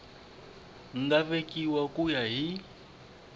nga vekiwa ku ya hi